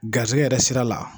Garisɛgɛ yɛrɛ sira la